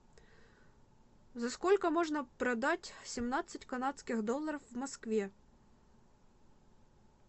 за сколько можно продать семнадцать канадских долларов в москве